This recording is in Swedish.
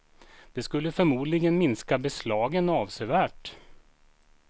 Detta skulle förmodligen minska beslagen avsevärt.